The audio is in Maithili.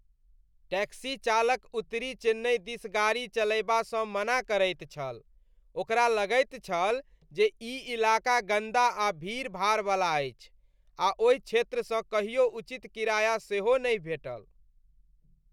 टैक्सी चालक उत्तरी चेन्नइ दिस गाड़ी चलयबासँ मना करैत छल। ओकरा लगैत छल जे ई इलाका गन्दा आ भीड़ भाड़वला अछि आ ओहि क्षेत्रसँ कहियो उचित किराया सेहो नहि भेटल।